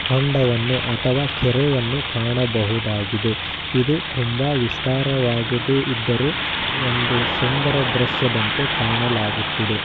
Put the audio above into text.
ಹೊಂಡವನ್ನು ಅಥವಾ ಕೆರೆಯನ್ನು ಕಾಣಬಹುದಾಗಿದೆ. ಇದು ತುಂಬಾ ವಿಸ್ತಾರವಾಗಿದೆ ಇದ್ದರು ಒಂದು ಸುಂದರ ದೃಶ್ಯದಂತೆ ಕಾಣಲಾಗುತ್ತಿದೆ.